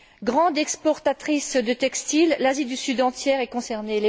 Grande exportatrice de textiles, l'Asie du Sud entière est concernée.